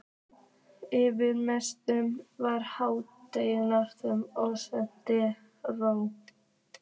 Yfir messunni var hátignarleg og seiðandi ró.